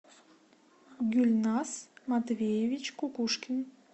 гульназ матвеевич кукушкин